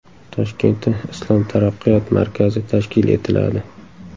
Toshkentda Islom taraqqiyot markazi tashkil etiladi.